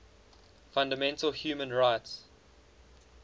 fundamental human rights